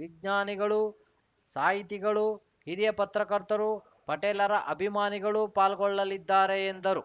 ವಿಜ್ಞಾನಿಗಳು ಸಾಹಿತಿಗಳು ಹಿರಿಯ ಪತ್ರಕರ್ತರು ಪಟೇಲರ ಅಭಿಮಾನಿಗಳು ಪಾಲ್ಗೊಳ್ಳಲಿದ್ದಾರೆ ಎಂದರು